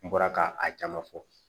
N bɔra ka a caman fɔ